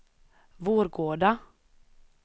Vårgårda